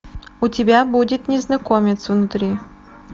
у тебя будет незнакомец внутри